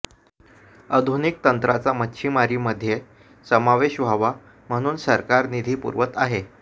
आधुनिक तंत्राचा मच्छिमारीमध्ये समावेश व्हावा म्हणून सरकार निधी पुरवत आहे